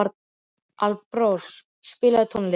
Alparós, spilaðu tónlist.